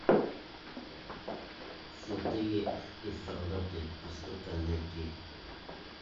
святые и солдаты пустота найти